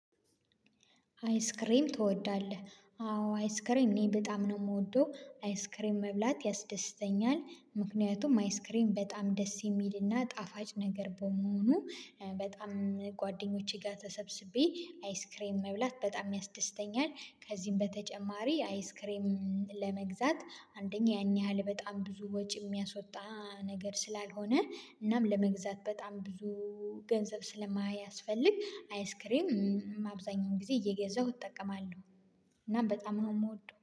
አይስክሬም ትወዳለህ? አዎ አይስክሬም እኔ በጣም ነው የምወደው አይስክሬም መብላት ያስደስተኛል። ምክንያቱም አይስክሬም በጣም ደስ የሚልና ጣፋጭ ነገር በመሆኑ በጣም ጓደኞቼ ጋር ተሰብስቤ አይስክሬም መብላት በጣም ያስደስተኛል። ከዚህም በተጨማሪ አይስክሬም ለመግዛት አንደኛ ያን ያህል በጣም ብዙ ወጪ የሚያስወጣ ነገር ስላልሆነ እናም ለመግዛት በጣም ብዙ ገንዘብ ስለማያስፈልግ አይስክሬም አብዛኛውን ጊዜ እየገዛሁ እጠቀማለሁ። እና በጣም ነው የምወደው